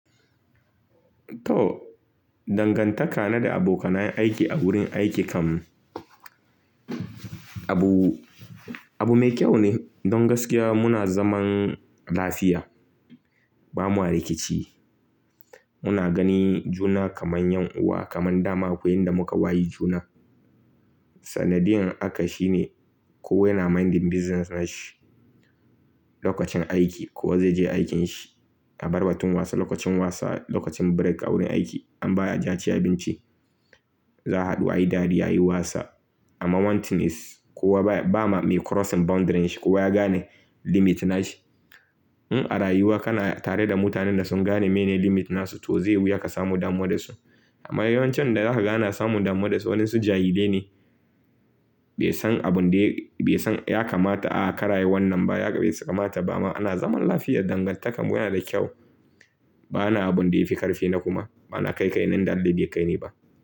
To, dangantaka na da abokanan aiki a wurin aiki kam abu, abu mai kyau ne. Don gaskiya muna zaman lafiya. Ba ma rikici. Muna gani juna kaman 'yan uwa, kaman dama akwai inda muka wayi juna. Sanadiyan haka shine kowa yana minding business nashi. Lokacin aiki kowa zai je aikin shi. A bar batun wasa, lokacin wasa, lokacin break a wurin aiki an baya aje a ci abinci. Za a haɗu ayi dariya, ayi wasa. Amma one thing is kowa baya, ba ma mai crossing boundaring shi. Kowa ya gane limit nashi. In a rayuwa kana tare da mutanen da sun gane menene limit nasu to zai wuya ka samu damuwa da su. Amma yawancin da zaka ga ana samun damuwa da su waninsu jahilai ne. Bai san abin da ya, bai san ya kamata a kar ayi wannan ba, ya kamata ba ma. Ana zaman lafiya, dangantakar mu yana da kyau. Ba na abun da yafi ƙarfi na kuma. Ba na kai kai na inda aba be kai ni ba.